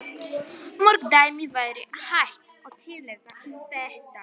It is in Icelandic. Mörg dæmi væri hægt að tilnefna um þetta.